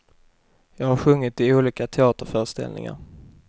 Jag har sjungit i olika teaterföreställningar.